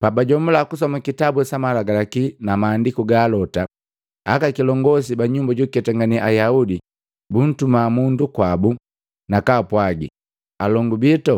Pabajomula kusoma kitabu sa malagalaki na maandiku ga alota, aka kilongosi ba nyumba jukuketangane Ayaudi buntuma mundu kwabu, nakaapwagi, “Alongu bito